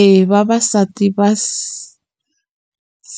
Eya vavasati va s